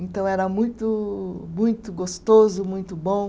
Então era muito muito gostoso, muito bom.